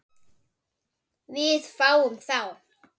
Við fáum þá